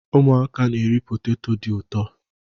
Ụmụaka na-eri poteto dị ụtọ.